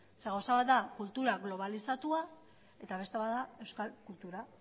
gauza bat da kultura globalizatuta eta beste bat da euskal kultura